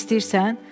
Yemək istəyirsən?